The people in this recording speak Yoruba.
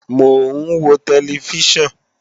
Mò ń wo tẹlifíṣàn